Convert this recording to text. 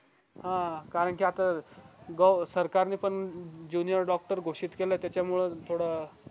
हां कारण कि आता सरकारने पण जुनिअर डॉक्टर घोषित केलाय त्याच्या मुळ थोडं